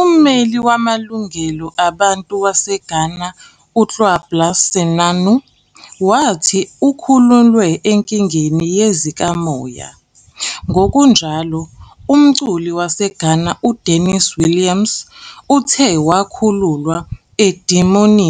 Ummeli wamalungelo abantu waseGhana uKwabla Senanu wathi ukhululwe enkingeni yezikamoya.. Ngokunjalo, umculi waseGhana uDenise Williams uthe wakhululwa edimoni